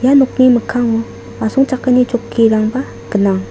ia nokni mikkango asongchakani chokkirangba gnang.